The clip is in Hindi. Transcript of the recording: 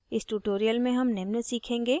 इस tutorial में हम निम्न सीखेंगे